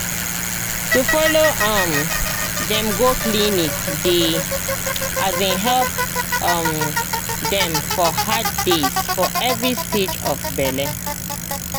to follow um dem go clinic dey um help um dem for hard days for every stage of bele